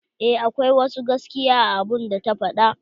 Eh akwai wasu gaskiya a abun da ta fada.